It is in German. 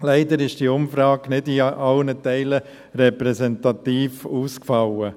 Leider ist die Umfrage nicht in allen Teilen repräsentativ ausgefallen.